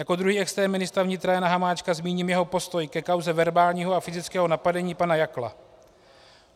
Jako druhý extrém ministra vnitra Jana Hamáčka zmíním jeho postoj ke kauze verbálního a fyzického napadení pana Jakla.